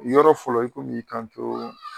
Ni yɔrɔ fɔlɔ i komi i y'i kan to.